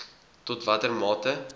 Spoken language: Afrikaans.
tot watter mate